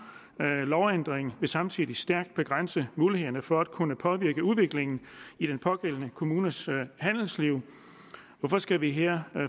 lovændringen vil samtidig stærkt begrænse mulighederne for at kunne påvirke udviklingen i den pågældende kommunes handelsliv hvorfor skal vi her